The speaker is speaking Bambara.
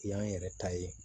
I y'an yɛrɛ ta ye